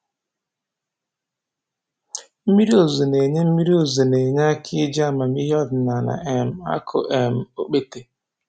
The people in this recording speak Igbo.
Mmiri ozuzu na-enye Mmiri ozuzu na-enye aka n'iji amamihe ọdịnaala um akụ um okpete